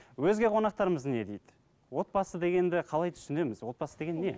өзге қонақтарымыз не дейді отбасы дегенді қалай түсінеміз отбасы деген не